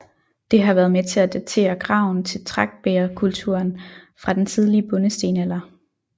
Det har været med til at datere graven til tragtbægerkulturen fra den tidlige bondestenalder